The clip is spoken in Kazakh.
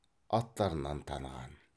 аттарынан таныған